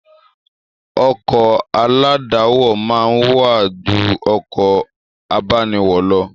Ọkọ̀ aládàáwọ̀ máa ń wán ju ọkọ̀ abániwọ̀ lọ